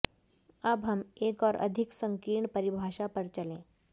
अब हम एक और अधिक संकीर्ण परिभाषा पर चलें